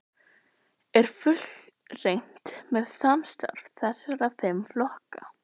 Gunnar Atli: Er fullreynt með samstarf þessara fimm flokka?